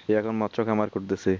সে এখন মৎস কামার করতেসে